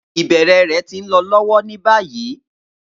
Ibẹrẹ rẹ ti nlọ lọwọ ni bayi.